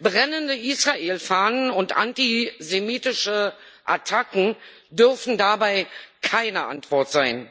Brennende Israel Fahnen und antisemitische Attacken dürfen dabei keine Antwort sein.